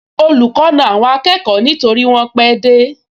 Olùkọ́ na àwọn akẹ́kọ̀ọ nítorí wọ́n pẹ́ dé